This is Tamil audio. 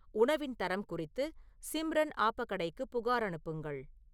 உணவின் தரம் குறித்து சிம்ரன் ஆபா கடாய்க்கு புகார் அனுப்புங்கள்